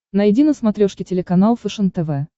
найди на смотрешке телеканал фэшен тв